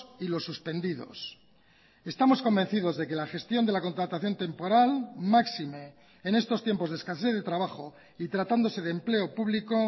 y los suspendidos estamos convencidos de que la gestión de la contratación temporal máxime en estos tiempos de escasez de trabajo y tratándose de empleo público